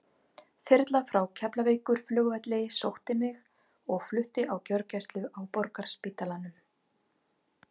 Þyrla frá Keflavíkurflugvelli sótti mig og flutti á gjörgæslu á Borgarspítalanum.